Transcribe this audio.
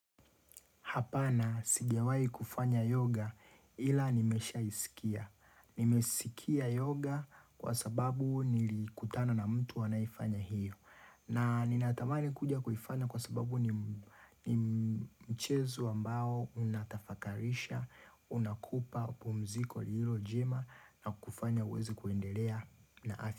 Hapana sijawahi kufanya yoga ila nimeshaisikia. Nimesikia yoga kwa sababu nilikutana na mtu anayefanya hiyo. Na ninatamani kuja kuifanya kwa sababu ni mchezo ambao unatafakarisha, unakupa, pumziko liilo njema na kufanya uweze kuendelea na afya.